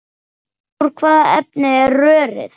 Úr hvaða efni er rörið?